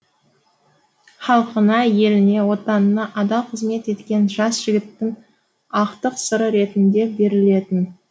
халқына еліне отанына адал қызмет еткен жас жігіттің ақтық сыры ретінде берілетін